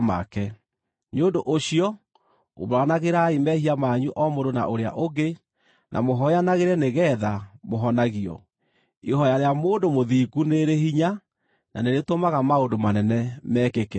Nĩ ũndũ ũcio umbũranagĩrai mehia manyu o mũndũ na ũrĩa ũngĩ, na mũhooyanagĩre nĩgeetha mũhonagio. Ihooya rĩa mũndũ mũthingu nĩ rĩrĩ hinya na nĩ rĩtũmaga maũndũ manene mekĩke.